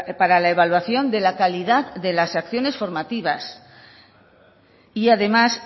para la evaluación de la calidad de las acciones formativas y además